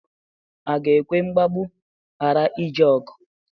A ga-ekwe mgbagbụ ghara ije ọgụ?